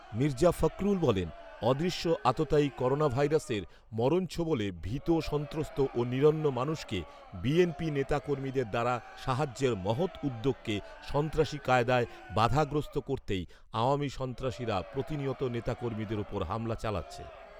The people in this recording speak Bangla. মির্জা ফখরুল বলেন, অদৃশ্য আততায়ী করোনাভাইরাসের মরণছোবলে ভীত সন্ত্রস্ত ও নিরন্ন মানুষকে বিএনপি নেতাকর্মীদের দ্বারা সাহায্যের মহৎ উদ্যোগকে সন্ত্রাসী কায়দায় বাধাগ্রস্ত করতেই আওয়ামী সন্ত্রাসীরা প্রতিনিয়ত নেতাকর্মীদের ওপর হামলা চালাচ্ছে